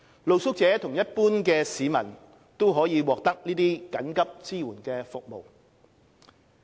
露宿者和一般市民均可獲得這些緊急支援服務。